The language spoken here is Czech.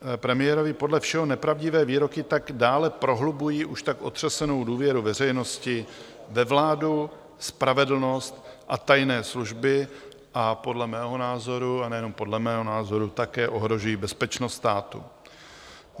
Premiérovy podle všeho nepravdivé výroky tak dále prohlubují už tak otřesenou důvěru veřejnosti ve vládu, spravedlnost a tajné služby a podle mého názoru, a nejenom podle mého názoru, také ohrožují bezpečnost státu.